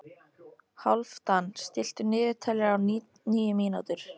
Hálfdan, stilltu niðurteljara á níu mínútur.